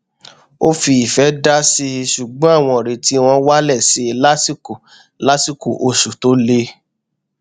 ó fi ìfẹ dásí i ṣugbọn àwọn ìrètí wọn wálẹ sí i lásìkò lásìkò oṣù tó le